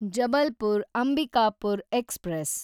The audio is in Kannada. ಜಬಲ್ಪುರ್‌ ಅಂಬಿಕಾಪುರ್ ಎಕ್ಸ್‌ಪ್ರೆಸ್